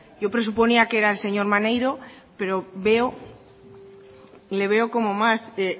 yo presuponía que era el señor maneiro pero le veo como más